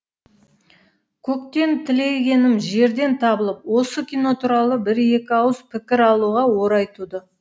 көктен тілегенім жерден табылып осы кино туралы бір екі ауыз пікір алуға орай туды